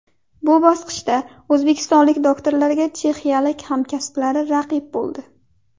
Bu bosqichda o‘zbekistonlik doktorlarga chexiyalik hamkasblari raqib bo‘ldi.